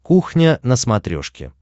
кухня на смотрешке